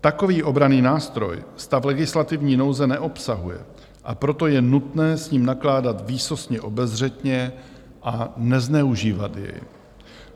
Takový obranný nástroj stav legislativní nouze neobsahuje, a proto je nutné s ním nakládat výsostně obezřetně a nezneužívat jej.